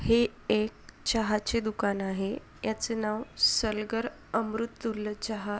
ही एक चहाचे दुकान आहे याचे नाव सरगल अमृततुल्य चहा--